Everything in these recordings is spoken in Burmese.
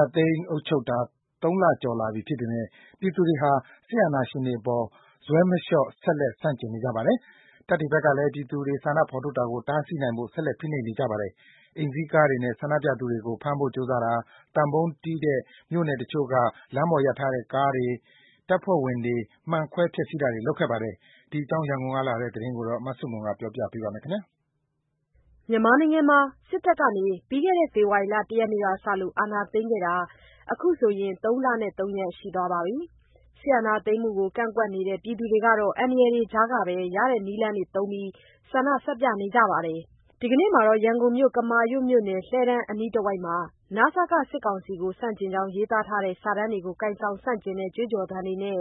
ာသိမ်းအုပ်ချုပ်နေတာ ၃ လကျော်ပြီဖြစ်ပေမဲ့ ပြည်သူတွေဟာ စစ်အာဏာရှင်တွေအပေါ် ဇွဲမလျော့ ဆက်လက် ဆန့်ကျင်နေကြပါတယ်။ တပ်တွေဖက်ကလည်း ပြည်သူတွေ ဆန္ဒထုတ်ဖော်တာကို တားဆီးနိုင်ဖို့ ဆက်လက်ဖိနှိပ်နေပါတယ်။ အိမ်စီးကားတွေနဲ့ ဆန္ဒပြသူတွေကို ဖမ်းဖို့ ကြိုးစားတာ၊ သံပုံးတီးတဲ့မြို့နယ်တချို့က လမ်းပေါ်ရပ်ထားတဲ့ ကားတွေ တပ်ဖွဲ့ဝင်တွေ၊ မှန်ခွဲဖျက်စီးတာတွေလုပ်ခဲ့ပါတယ်။ ရန်ကုန်ကလာတဲ့သတင်းကို မဆုမွန် တင်ပြပါမယ်။ မြန်မာနိုင်ငံမှာ စစ်တပ်က ဖေဖော်ဝါရီလ ၁ ရက်နေ့မှာ အာဏာသိမ်းခဲ့တာ အခုဆို ၃ လနဲ့ ၃ ရက်ရှိပါပြီ။ စစ်အာဏာသိမ်းမှုကို ကန့်ကွက်နေသူတွေကတော့ အန္တရာယ်ကြားကပဲ ရတဲ့နည်းသုံးပြီး ဆန္ဒပြနေကြပါတယ်။ ရန်ကုန်မြို့ ကမာရွတ်မြို့နယ် လှည်းတန်းအနီးတဝိုက်မှာ နစက စစ်ကောင်စီကို ဆန့်ကျင်ကြောင်း ရေးသားထားတဲ စာတန်းတွေကို ကိုင်ဆောင်၊ ဆန့်ကျင်တဲ့ ကြွေးကြော်သံတွေနဲ့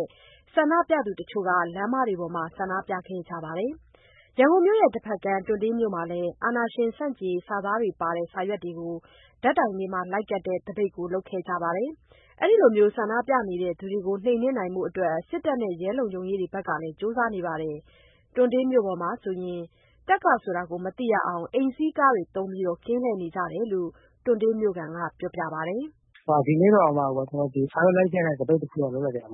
ဆန္ဒပြသူတချို့ လမ်းမတွေပေါ်မှာ ဒီကနေ့ ဆန္ဒပြခဲ့ကြပါတယ်။ ရန်ကုန်မြို့တဖက်ကမ်း တွံတေးမြို့နယ်မှာလည်း အာဏာရှင်ဆန့်ကျင်ရေး စာသားတွေပါတဲ့ စာရွက်တွေကို ဓာတ်တိုင်တွေမှာလိုက်ကပ်တဲ့ သပိတ်ကို လုပ်ခဲ့ကြပါတယ်။ အဲဒီလို ဆန္ဒပြနေသူတွေကို နှိမ်နှင်းနိုင်ဖို့အတွက် စစ်တပ်နဲ့ ရဲတွေဖက်ကလည်း ကြိုးစားနေပါတယ်။ တွံတေးမြို့မှာဆို တပ်ကဆိုတာ မသိရနိုင်အောင် အိမ်စီးကားတွေသုံး ကင်းလှည့်နေကြတယ်လို့ မြို့ခံကပြောပါတယ်။ “ဒီနေ့ကတော့ ဓာတ်တိုင်တွေမှာ စာရွက်လိုက်ကပ်တဲ့သပိတ်တခုတော့ လုပ်လိုက်တယ်။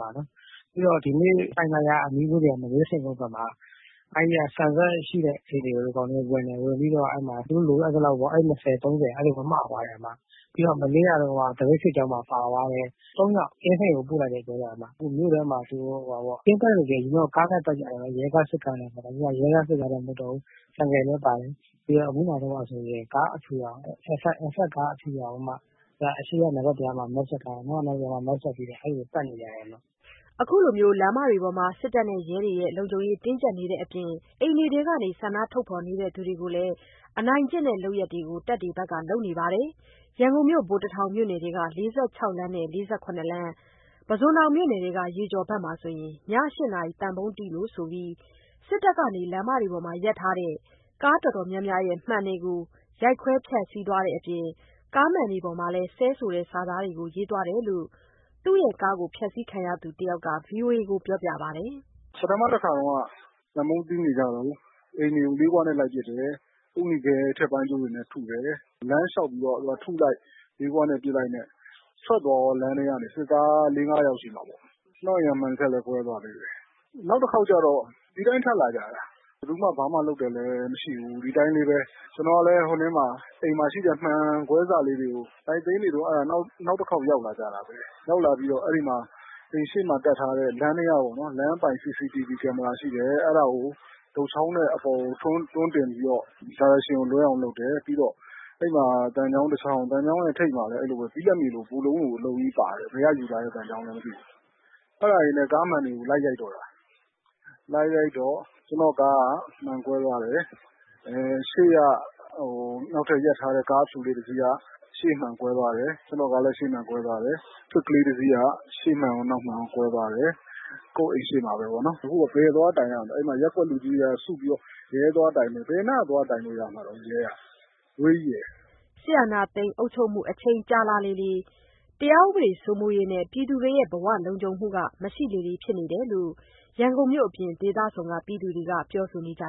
ပြီးတော့ ဒီနေ့ လှိုင်သာယာအနီးဝန်းကျင်က မနေးထိန်ကုန်းဘက်မှာ အဲဒီက ဆန်စက်ရှိတဲ့အိမ်တွေကို ဒီကောင်တွေဝင်တယ်။ ဝင်ပြီးတော့ အိတ် ၂၀ - ၃၀ အဲလိုမျိုး မသွားတယ်။ ပြီးတော့ မနေ့က သပိတ်စစ်ကြောင်းမှာ အဖမ်းခံလိုက်ရတဲ့ ၃ယောက်ကို အင်းစိန်ကိုပို့လိုက်တယ် ပြောတယ်။ မြို့ထဲမှာဆို အရင်က ကင်းပတ်ရင် ရဲကား၊ စစ်ကားတွေနဲ့ ပတ်ကြတယ်။ အခုက ရဲကား၊ စစ်ကားနဲ့ မဟုတ်တော့ဘူး၊ ဆိုင်ကယ်တွေလည်းပါတယ်။ ပြီးတော့ အခုနောက်ပိုင်းမှာဆို Alphard ကား အဖြူရောင်ကိုမှ အရှေ့ကနံပါတ်ပြားနဲ့ အနောက်ကနံပါတ်ပြားမှာ Mask တပ်ပြီးတော့ အဲလိုပတ်နေကြတယ်။” ခုလိုလမ်းပေါ်မှာ လုံခြုံရေးတင်းကြပ်နေတဲ့အပြင် အိမ်ထဲကနေ ဆန္ဒထုတ်ဖော်သူတွေကို အနိုင်ကျင့်တဲ့လုပ်ရပ်တွေကိုလည်း တပ်တွေဖက်က လုပ်နေပါတယ်။ ရန်ကုန်မြို့ ဗိုလ်တထောင်မြို့နယ်ထဲက ၄၆ လမ်းနဲ့ ၄၇ လမ်း၊ ပုဇွန်တောင်မြို့နယ်ထဲက ရေကျော်ဖက်မှာ ည ၈ နာရီ သံပုံးတီးလို့ဆိုပြီး စစ်တပ်က လမ်းတွေပေါ် ရပ်ထားတဲ့ ကားတော်တော်များများရဲ့ မှန်တွေကို ရိုက်ခွဲဖျက်စီးသွားတဲ့အပြင် ကားမှန်တွေပေါ်မှာလည်း ဆဲဆိုတဲ့စာသားတွေကို ရေးသွားတယ်လို့ သူ့ရဲ့ကားဖျက်စီးခံရသူတယောက်က VOA ကိုပြောပြပါတယ်။ “ပထမတခါတုန်းက သံပုံးတီးနေကြတုန်း အိမ်တွေကို လေးခွနဲ့လိုက်ပစ်တယ်၊ အုတ်နီခဲ ထက်ပိုင်းကျိုးတွေနဲ့ ထုတယ်။ လမ်းလျှောက်ပြီးတော့ လာထုလိုက်၊ လေးခွနဲ့ပစ်လိုက်နဲ့ ထွက်သွားရော... စစ်သား ၄ - ၅ ယောက်ရှိမှာပေါ့။ ကျနော့အိမ်က မှန်တချပ်လည်း ကွဲသွားသေးတယ်။ နောက်တခေါက်ကျတော့ ဒီအတိုင်းထပ်လာကြတာ... ဘယ်သူမှ ဘာမှလုပ်တယ်လည်း မရှိဘူး။ ကျနော်ကလည်း အိမ်မှာရှိတဲ့ မှန်ကွဲစတွေကို လိုက်သိမ်းနေတုန်း နောက်တခေါက်ရောက်လာကြတာပဲ။ ရောက်လာပြီးတော့ အိမ်ရှေ့မှာတပ်ထားတဲ့ လမ်းအပိုင် CCTV Camera ရှိတယ်။ အဲဒါကို တုတ်ချောင်းနဲ့ အပေါ်ကိုတွန်းတင်ပြီးတော့ Direction ကိုလွဲအောင်လုပ်တယ်။ ပြီးတော့ သံချောင်းတချောင်း... သံချောင်းထိပ်မှာ ဘိလပ်မြေလို ဘုလုံးကြီးပါတယ်။ အဲဒါတွေနဲ့ ကားမှန်တွေကို လိုက်ရိုက်တော့တာ။ လိုက်ရိုက်တော့ ကျနော့ကားက ရှေ့မှန်ကွဲသွားတယ်။ ရှေ့က နောက်ထပ်ရပ်ထားတဲ့ ကားအဖြူလေးတစီးက ရှေ့မှန်ကွဲသွားတယ်။ Swift တစီးက ရှေ့မှန်ရော နောက်မှန်ရော ကွဲသွားတယ်။ အခုက ဘယ်သွားတိုင်ရမလဲ။ ရပ်ကွက်လူကြီးတွေက စုပြီးတော့ ရဲသွားတိုင်မယ်တဲ့။ ဘယ်နားသွားတိုင်လို့ရမှာလဲ ရဲက... အဝေးကြီးပဲ။” စစ်အာဏာသိမ်း အုပ်ချုပ်မှု အချိန်ကြာလာလေ တရားဥပဒေစိုးမိုးရေးနဲ့ ပြည်သူတွေရဲ့ ဘဝလုံခြုံရေး မရှိလေဖြစ်နေတယ်လို့ ရန်ကုန်မြို့အပြင် ဒေသစုံက ပြည်သူတွေက ပြောနေကြ